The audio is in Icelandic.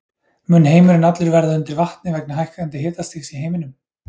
Mun heimurinn allur verða undir vatni vegna hækkandi hitastigs í heiminum?